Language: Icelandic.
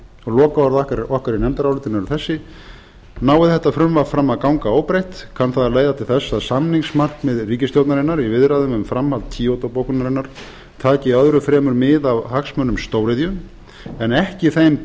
lokaorð okkar í nefndarálitinu eru þessi nái þetta frumvarp fram að ganga óbreytt kann það að leiða til þess að samningsmarkmið ríkisstjórnarinnar í viðræðum um framhald kyoto bókunarinnar taki öðru fremur mið af hagsmunum stóriðju en ekki þeim